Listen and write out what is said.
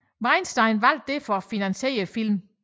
Weinstein valgte derfor at finansiere filmen